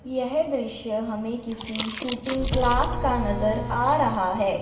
यह दृश्य हमें किसी शूटिंग क्लास का नजर आ रहा है।